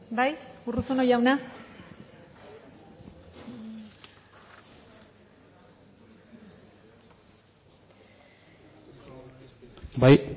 bai urruzuno jauna bai